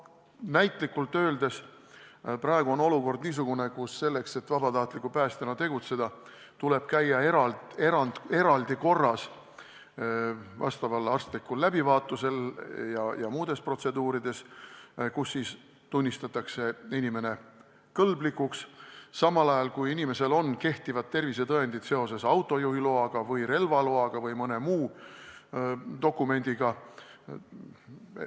Näitlikult öeldes on praegune olukord niisugune, et vabatahtliku päästjana tegutsemiseks tuleb käia eraldi korras arstlikul läbivaatusel ja muudel vastavatel protseduuridel, kus tunnistatakse inimene kõlblikuks, samal ajal kui inimesel on kehtivad tervisetõendid seoses autojuhiloa, relvaloa või mõne muu dokumendiga.